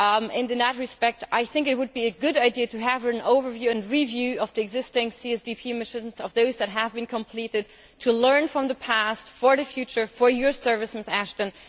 In that respect, I think it would be a good idea to have an overview and review of the existing CSDP missions that have been completed, to learn from the past for the future of your service, Mrs Ashton.